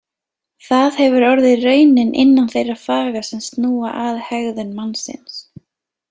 Það hefur orðið raunin innan þeirra faga sem snúa að hegðun mannsins.